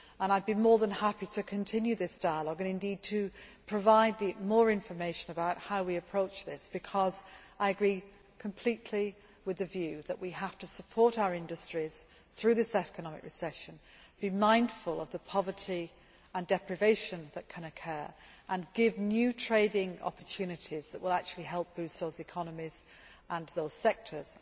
I would be more than happy to continue this dialogue and to provide more information about how we approach this, because I agree completely with the view that we have to support our industries through this economic recession, be mindful of the poverty and deprivation that can occur, and give new trading opportunities that will actually help boost those economies and those sectors.